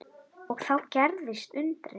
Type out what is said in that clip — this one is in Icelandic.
Og þá gerðist undrið.